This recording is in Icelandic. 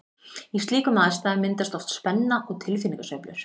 Í slíkum aðstæðum myndast oft spenna og tilfinningasveiflur.